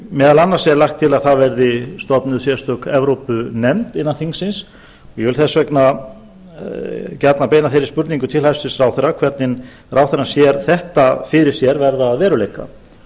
meðal annars er lagt til að stofnuð verði sérstök evrópunefnd innan þingsins og ég vil þess vegna gjarnan beina þeirri spurningu til hæstvirts ráðherra hvernig ráðherrann sér þetta fyrir sér verða að veruleika